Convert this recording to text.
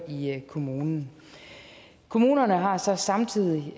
i kommunen kommunerne har så samtidig